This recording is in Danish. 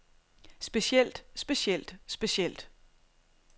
specielt specielt specielt